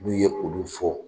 N'u ye olu fɔ.